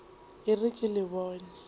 e re ke le bone